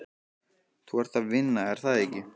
Þú ert að vinna, er það ekki?